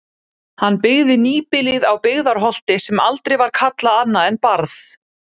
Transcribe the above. Hann byggði nýbýlið á Byggðarholti sem aldrei var kallað annað en Barð.